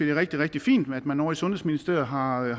er rigtig rigtig fint at man ovre i sundhedsministeriet har